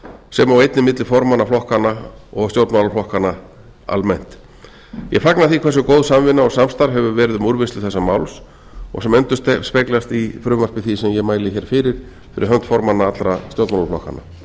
sem og einnig milli formanna flokkanna og stjórnmálaflokkanna almennt ég fagna því hversu góð samvinna og samstarf hefur verið um úrvinnslu þessa máls og sem endurspeglast í frumvarpi því sem ég mæli hér fyrir fyrir hönd formanna allra stjórnmálaflokkanna